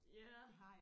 Ja